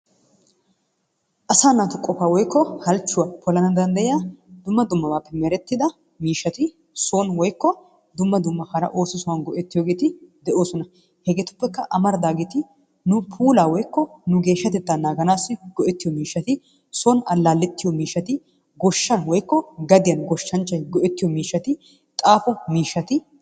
Asaa natu qofaa woyko halchuwa polanawu dandayiya dumma dumma bappe meretida mishatti soni woyko dumma dumma oso sohan go'ettiyogetti de'osonna hegettuppekka amaridagetti nu fulla woyko geshaatetta naganassi goettiyo mishatti soni alaliiyaa, goshanni woyko gadiyan goshanchay go'ettiyo mishatti, xaffoo mishaatti.